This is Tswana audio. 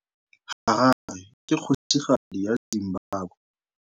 Harare ke kgosigadi ya Zimbabwe.